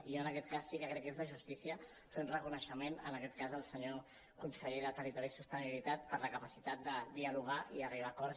i jo en aquest cas sí que crec que és de justícia fer un reconeixement en aquest cas al senyor conseller de territori i sostenibilitat per la capacitat de dialogar i arribar a acords